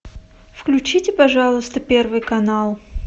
включите пожалуйста первый канал